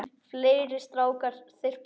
Fleiri strákar þyrpast að.